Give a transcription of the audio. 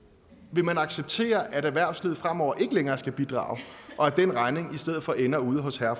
vil man acceptere at erhvervslivet fremover ikke længere skal bidrage og at den regning i stedet for ender ude hos herre og